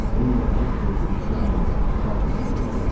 Pen yalvarış dolu baxışlarla Saltersə baxdı.